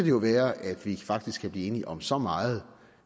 jo være at vi faktisk kan blive enige om så meget